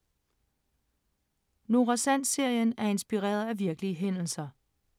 Nora Sand-serien er inspireret af virkelige hændelser